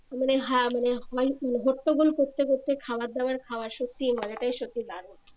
মানে হা মানে হট্টোগোল করতে করতে খাওয়ার দাওয়ার খাওয়া সত্যি মজাটাই সত্যি দারুন